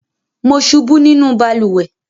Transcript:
Mo ṣubú nínú balùwẹ́